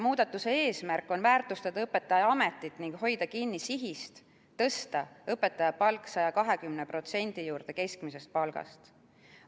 Muudatuse eesmärk on väärtustada õpetajaametit ning hoida kinni sihist tõsta õpetajate palk 120%‑ni keskmisest palgast.